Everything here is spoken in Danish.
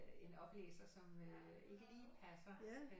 En oplæser som ikke lige passer